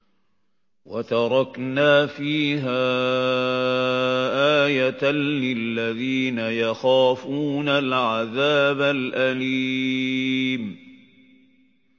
وَتَرَكْنَا فِيهَا آيَةً لِّلَّذِينَ يَخَافُونَ الْعَذَابَ الْأَلِيمَ